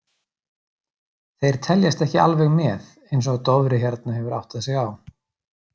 Þeir teljast ekki alveg með eins og Dofri hérna hefur áttað sig á.